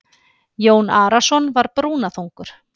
Jón Arason var brúnaþungur.